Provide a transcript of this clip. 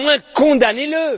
Au moins, condamnez le!